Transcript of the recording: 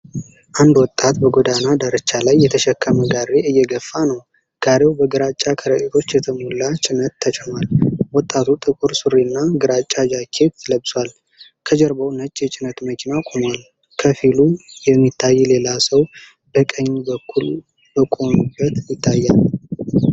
አንድ ወጣት በጎዳና ዳርቻ ላይ የተሸከመ ጋሪ እየገፋ ነው። ጋሪው በግራጫ ከረጢቶች የተሞላ ጭነት ተጭኗል። ወጣቱ ጥቁር ሱሪና ግራጫ ጃኬት ለብሷል። ከጀርባው ነጭ የጭነት መኪና ቆሟል። ከፊሉ የሚታይ ሌላ ሰው በቀኝ በኩል በቆመበት ይታያል።